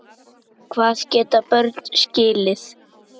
Hvað geta börn skilið?